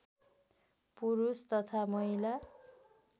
पुरुष तथा महिला